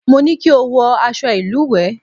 Mo ní kí o wọ aṣọ ìlùwẹ̀!